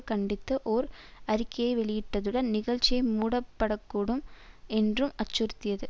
கண்டித்து ஓர் அறிக்கையை வெளியிட்டதுடன் நிகழ்ச்சியை மூடப்படக்கூடும் என்றும் அச்சுறுத்தியது